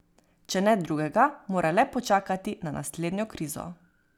Če ne drugega, mora le počakati na naslednjo krizo ...